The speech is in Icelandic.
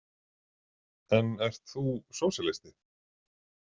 En ert þú sósíalisti?